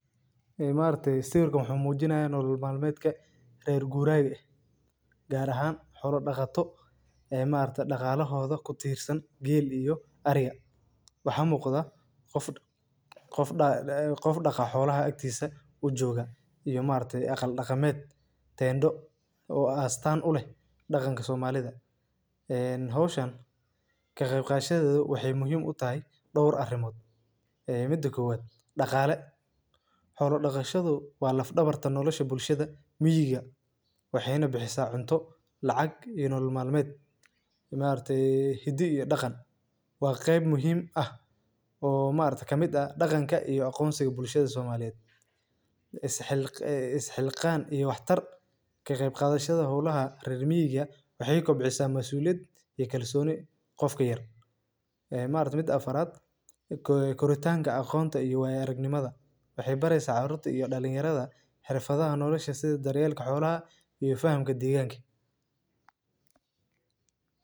Haa maaragtey sawirkan wuxuu muujinayo nool maalmeedka reer guuraagga. Gaar ahaan hor dhakha to ee maarta dhakha lahooda ku tiirsan geel iyo ariga. Waxa muuqda qof qof dhakha qof dhakha hawlaha aagtiisa u jooga iyo maartay aqal dhakameed tayndho oo aan staan u leh dhaganka somalida. En hoos shaan ka qeybqaad shadaadu waxay muhiim u tahay dhowr arrimood. 1. Dhakhaale hawlo dhakhaashadu waa laf dhabar tan nolosha bulshada miyiga waxeena bixisa cunto lacag iyo nolmaalmeed. Maartee haddii iyo dhakhan waa qeyb muhiim ah oo maarta ka mid ah dhaganka iyo aqoonsiga bulshada Soomaaliya. Is xilq is xilqan iyo waxtar ka qeyb qaadayshada hawlaha reer Miya waxay kobcisaa masuuliyad iyo kalsooni qof kheer. Maartay mid afaraad. Koritaanka Aqoonta iyo Wayaragnimada waxay baraysa caruurta iyo dhalinyarada xirfadan, noloshahana sida dareelle ka xoolaha iyo fahamka deegaankii.